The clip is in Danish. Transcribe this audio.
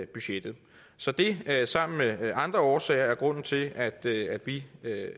budgettet så det er sammen med andre årsager grunden til at at vi